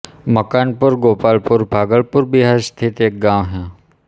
मकानपुर गोपालपुर भागलपुर बिहार स्थित एक गाँव है